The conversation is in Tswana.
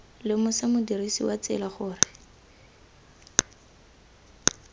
lemosa modirisi wa tsela gore